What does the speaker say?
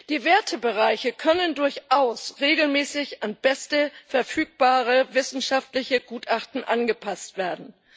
Die Wertebereiche können durchaus regelmäßig an beste verfügbare wissenschaftliche Gutachten angepasst werden.